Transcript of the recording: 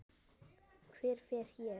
Hver fer ég?